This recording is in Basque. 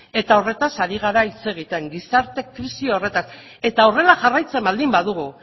eta horretaz ari gara hitz egiten gizarte krisi horretaz eta horrela jarraitzen baldin badugu